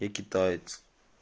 я китаец